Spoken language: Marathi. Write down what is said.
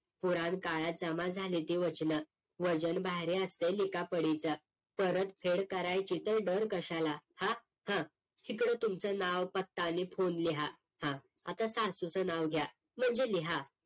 पुराणकाळात जमा झाले ते वचन वजन भारी असत लिखा पडीच परत फेड करायची तर डर कशालाहां हा इकडे तुमचं नाव पत्ता आणि PHONE लिहा हा आता सासूचा नाव घ्या म्हणजे लिहा